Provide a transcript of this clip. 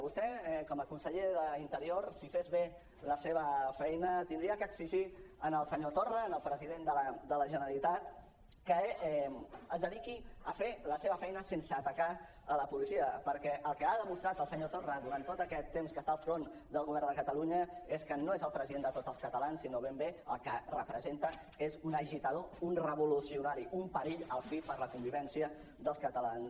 vostè com a conseller d’interior si fes bé la seva feina hauria d’exigir al senyor torra al president de la generalitat que es dediqui a fer la seva feina sense atacar la policia perquè el que ha demostrat el senyor torra durant tot aquest temps que ha estat al capdavant del govern de catalunya és que no és el president de tots els catalans sinó que ben bé el que representa és un agitador un revolucionari un perill a la fi per a la convivència dels catalans